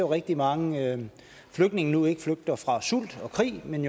rigtig mange flygtninge nu ikke flygter fra sult og krig men